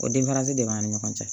O danfarasi de b'an ni ɲɔgɔn cɛ